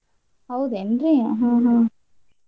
ಹೌದೇನ್ರಿ ಹ್ಮ್ ಹ್ಮ್.